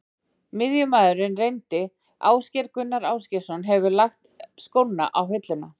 Miðjumaðurinn reyndi Ásgeir Gunnar Ásgeirsson hefur lagt skóna á hilluna.